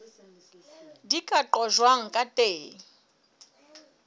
di ka qojwang ka teng